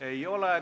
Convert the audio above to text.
Ei ole.